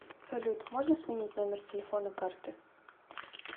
салют можно сменить номер телефона карты